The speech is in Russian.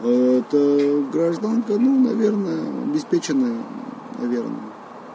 это гражданка ну наверное обеспеченная наверное